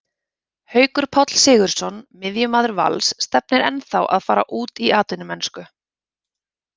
Haukur Páll Sigurðsson, miðjumaður Vals, stefnir ennþá að fara út í atvinnumennsku.